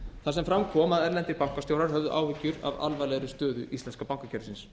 þar sem fram kom að erlendir bankastjórar höfðu áhyggjur af alvarlegri stöðu íslenska bankakerfisins